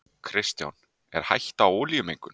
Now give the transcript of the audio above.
Kristján: Er hætta á olíumengun?